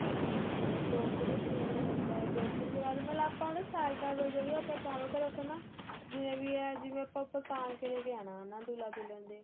ਤੇ ਗੋਕਰੂ ਜਿਵੇਂ ਵੀ ਲੱਗਦਾ ਗੋਕਰੂ ਤੋ ਬਾਅਦ ਆਪਾ ਉਹਦੇ ਸਾਈਡਾ ਤੋ ਜਿਹੜੀ ਚਾਰੋ ਤਰਫ਼ ਨਾ ਜਿਵੇਂ ਵੀ ਏ ਜਿਵੇਂ ਆਪਾ ਦੁਲ੍ਲਾ ਦੁਲਹਨ ਤੇ